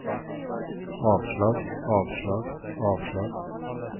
avslag avslag avslag